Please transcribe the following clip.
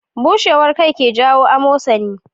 Bushewar kai ke jawo amosani